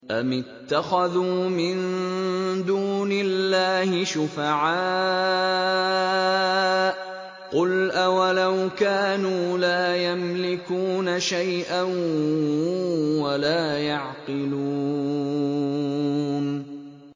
أَمِ اتَّخَذُوا مِن دُونِ اللَّهِ شُفَعَاءَ ۚ قُلْ أَوَلَوْ كَانُوا لَا يَمْلِكُونَ شَيْئًا وَلَا يَعْقِلُونَ